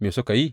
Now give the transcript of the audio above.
Me suka yi?